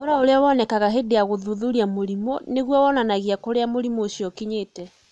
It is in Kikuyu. ũhoro ũrĩa wonekaga hĩndĩ ya gũthuthuria mũrimũ nĩ guo wonanagia kũrĩa mũrimũ ũcio ũkinyĩte.